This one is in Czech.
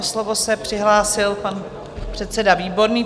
O slovo se přihlásil pan předseda Výborný.